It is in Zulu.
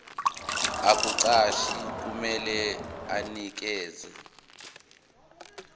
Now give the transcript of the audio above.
ukukuqasha kumele anikeze